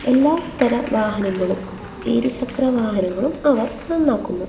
എല്ലാത്തരം വാഹനങ്ങളും ഇരുചക്ര വാഹനങ്ങളും അവർ നന്നാക്കുന്നു.